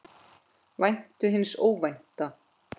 Væntu hins óvænta.